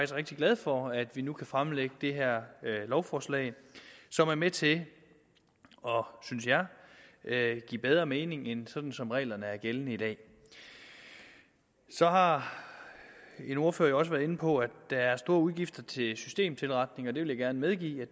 rigtig glad for at vi nu kan fremlægge det her lovforslag som er med til synes jeg at give bedre mening end sådan som reglerne er gældende i dag så har en ordfører også været inde på at der er store udgifter til systemtilretning og det vil jeg gerne medgive